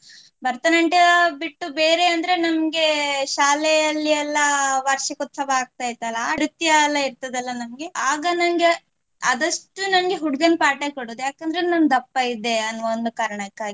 ಭರತನಾಟ್ಯ ಬಿಟ್ಟು ಬೇರೆ ಅಂದ್ರೆ ನಂಗೆ ಶಾಲೆಯಲ್ಲಿ ಎಲ್ಲಾ ವಾರ್ಷಿಕೋತ್ಸವ ಆಗ್ತಾ ಇತ್ತಲಾ ನೃತ್ಯ ಎಲ್ಲಾ ಇರ್ತದಲಾ ನಮ್ಗೆ ಆಗ ನಂಗೆ ಆದಷ್ಟು ನಂಗೆ ಹುಡುಗನ part ಎ ಕೊಡೋದು ಯಾಕಂದ್ರೆ ನಾನು ದಪ್ಪ ಇದ್ದೆ ಅನ್ನುವ ಒಂದು ಕಾರಣಕ್ಕಾಗಿ.